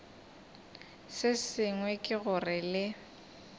se sengwe ke gore le